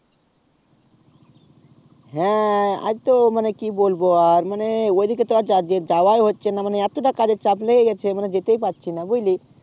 হ্যাঁ আজ তো মানে কি বলবো আর মানে ওই দিকে তো যা যাওযাই হচ্ছে না মানে এতটা কাজ এর চাপ লেগে গেছে মানে যেতেই পারছি না বুঝলি